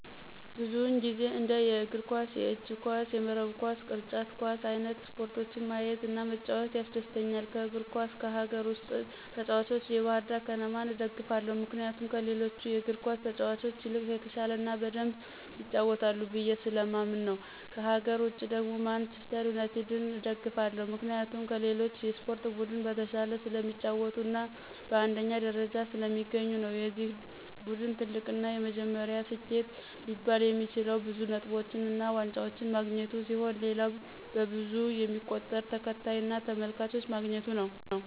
ብዙውን ጊዜ እንደ የእግር ኳስ፣ የእጅ ኳስ፣ የመረብ ኳስ፣ ቅርጫት ኳስ አይንት ስፖርቶችን ማየት እና መጫወት ያስደስተኛል። ከእግር ኳስ ከሀገር ውስጥ ተጭዋቾች ባህርዳር ከነማን እደግፋለሁ ምክንያቱም ከሌሎቹ እግር ኳስ ተጫዋቾች ይልቅ የተሻለ እና በደምብ ይጫወታሉ ብየ ስለማምን ነው። ከሀገር ውጭ ደግሞ ማንችስተር ዩናቲድን እደግፋለሁ ምክንያቴም ከሌሎች የስፖርት ቡድን በተሻለ ስለሚጫወቱ እና በአንደኛ ደረጃነት ስለሚገኙ ነው። የዚ ቡድን ትልቁ እና የመጀመሪያው ስኬት ሊባል የሚችለው ብዙ ነጥቦችን እና ዋንጫዎችን ማግኘቱ ሲሆን ሌላው በብዙ የሚቆጠር ተከታይ እና ተመልካች ማግኘቱ ነው።